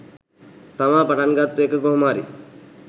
තමා පටන් ගත්තු එක කොහොම හරි